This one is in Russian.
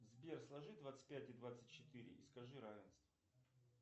сбер сложи двадцать пять и двадцать четыре и скажи равенство